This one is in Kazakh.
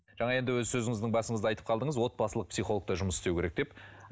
жаңа енді өз сөзіңіздің басыңызда айтып қалдыңыз отбасылық психолог та жұмыс істеу керек деп